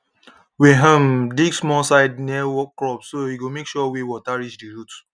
we um dig small side near crops so e go make sure way water reach the roots